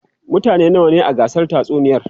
mutane nawa ne a gasar tatsuniyar?